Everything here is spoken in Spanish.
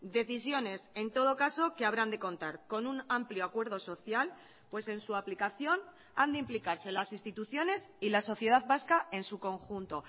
decisiones en todo caso que habrán de contar con un amplio acuerdo social pues en su aplicación han de implicarse las instituciones y la sociedad vasca en su conjunto